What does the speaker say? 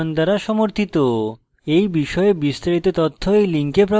এই বিষয়ে বিস্তারিত তথ্য এই link প্রাপ্তিসাধ্য